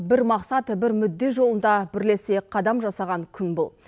бір мақсат бір мүдде жолында бірлесе қадам жасаған күн бұл